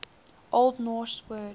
old norse word